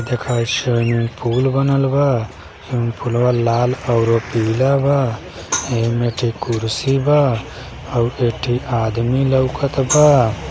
देख हइ swimming pool बनल बा स्विमिंग पुलवा लाल और पीला बा एहिमे एक ठी कुर्सी बा और एक ठी आदमी लउकत बा।